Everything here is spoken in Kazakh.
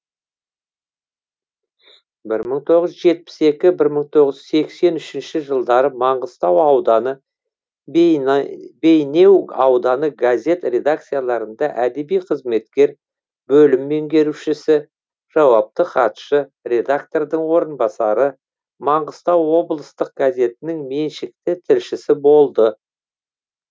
бір мың тоғыз жүз жетпіс екінші бір мың тоғыз жүз сексен үшінші жылдары маңғыстау ауданы бейнеу ауданы газет редакцияларында әдеби қызметкер бөлім меңгерушісі жауапты хатшы редактордың орынбасары маңғыстау облыстық газетінің меншікті тілшісі болды